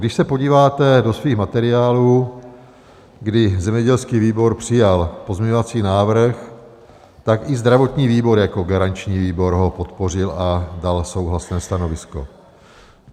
Když se podíváte do svých materiálů, kdy zemědělský výbor přijal pozměňovací návrh, tak i zdravotní výbor jako garanční výbor ho podpořil a dal souhlasné stanovisko.